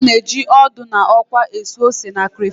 A na-eji ọdụ na ọkwa esu ose na crayfish